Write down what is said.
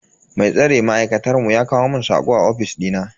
Mai tsare ma'aikatar mu ya kawo mun sako a ofis dina.